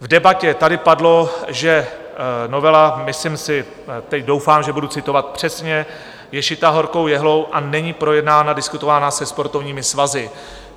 V debatě tady padlo, že novela - myslím si, teď doufám, že budu citovat přesně - je šitá horkou jehlou a není projednána, diskutována se sportovními svazy.